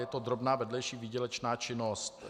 Je to drobná vedlejší výdělečná činnost.